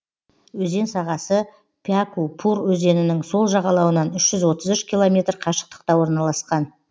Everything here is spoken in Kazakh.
өзен сағасы пяку пур өзенінің сол жағалауынан үш жүз отыз үш километр қашықтықта орналасқан